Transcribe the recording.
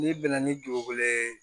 N'i bɛnna ni dugukolo ye